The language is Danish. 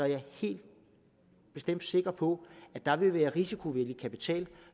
jeg helt sikker på at der vil være risikovillig kapital